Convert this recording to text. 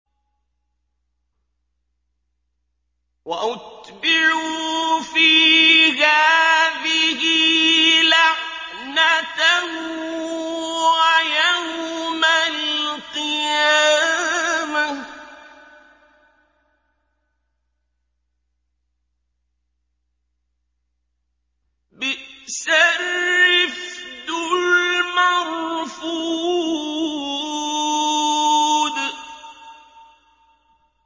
وَأُتْبِعُوا فِي هَٰذِهِ لَعْنَةً وَيَوْمَ الْقِيَامَةِ ۚ بِئْسَ الرِّفْدُ الْمَرْفُودُ